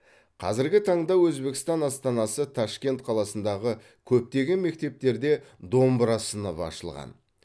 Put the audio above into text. қазіргі таңда өзбекстан астанасы ташкент қаласындағы көптеген мектептерде домбыра сыныбы ашылған